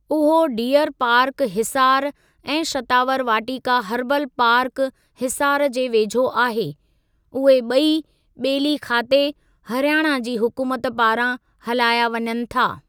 उहो deer park Hisar ऐं Shatavar Vatika herbal park Hisar जे वेझो आहे, उहे ॿई ॿेली खाते, हरियाणा जी हुकूमत पारां हलाया वञनि था।